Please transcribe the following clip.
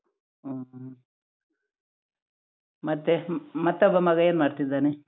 ಹ್ಮ್, ಹ್ಮ್, ಮತ್ತೆ ಮತ್ತೊಬ್ಬ ಮಗ ಏನ್ ಮಾಡ್ತಿದ್ದಾನೆ?